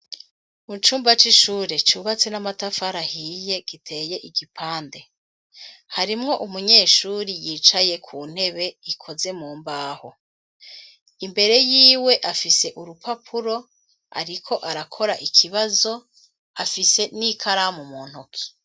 Mu cumba c'ishure, cubatse n'amatafari ahiye, giteye igipande, harimwo umunyeshuri, yicaye ku ntebe ikoze mu mbaho, imbere yiwe afise urupapuro, ariko arakora ikibazo, afise n'ikaramu mu ntuki.